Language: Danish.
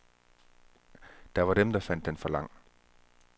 Der var dem der fandt den for lang.